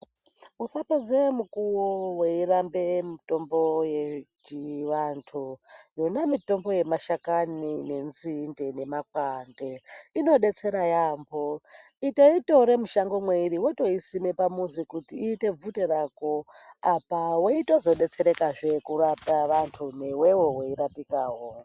Usapedze mukuwo weiramba mitombo yechivantu. Yona mitombo yemashakani nenzinde nemakwande inodetsera yaambo itoitore mushango mwairi wotosima pamuzi kuti iite bvute rako apa weitozodetserekazve kurapa vantu newewo weirapikawo.